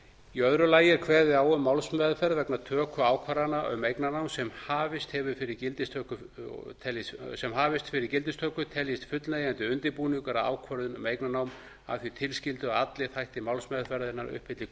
í öðru lagi er kveðið á um að málsmeðferð vegna töku ákvarðana um eignarnám sem hafist hefur fyrir gildistöku teljist fullnægjandi undirbúningur að ákvörðun um eignarnám að því tilskildu að allir þættir málsmeðferðarinnar uppfylli